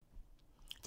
DR1